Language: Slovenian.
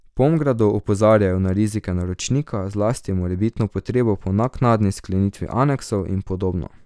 V Pomgradu opozarjajo na rizike naročnika, zlasti morebitno potrebo po naknadni sklenitvi aneksov in podobno.